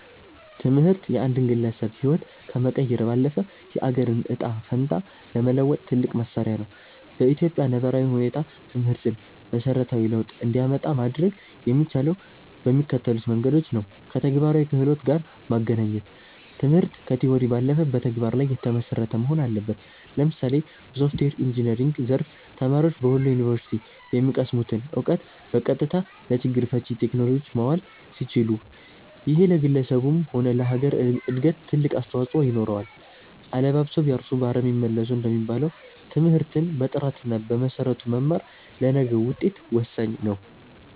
ትምህርት የአንድን ግለሰብ ህይወት ከመቀየር ባለፈ፣ የአገርን ዕጣ ፈንታ ለመለወጥ ትልቁ መሣሪያ ነው። በኢትዮጵያ ነባራዊ ሁኔታ ትምህርትን መሠረታዊ ለውጥ እንዲያመጣ ማድረግ የሚቻለው በሚከተሉት መንገዶች ነውከተግባራዊ ክህሎት ጋር ማገናኘት ትምህርት ከቲዎሪ ባለፈ በተግባር ላይ የተመሰረተ መሆን አለበት። ለምሳሌ በሶፍትዌር ኢንጂነሪንግ ዘርፍ፣ ተማሪዎች በወሎ ዩኒቨርሲቲ የሚቀስሙትን እውቀት በቀጥታ ለችግር ፈቺ ቴክኖሎጂዎች ማዋል ሲችሉ፣ ይሄ ለግለሰቡም ሆነ ለሀገር እድገት ትልቅ አስተዋፅኦ ይኖረዋል። "አለባብሰው ቢያርሱ በአረም ይመለሱ" እንደሚባለው፣ ትምህርትን በጥራትና በመሰረቱ መማር ለነገው ውጤት ወሳኝ ነው።